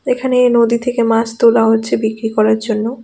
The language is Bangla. এখানে নদী থেকে মাছ তোলা হচ্ছে বিক্রি করার জন্য.